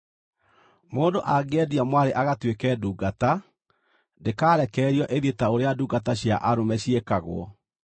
“Mũndũ angĩendia mwarĩ agatuĩke ndungata, ndĩkarekererio ĩthiĩ ta ũrĩa ndungata cia arũme ciĩkagwo.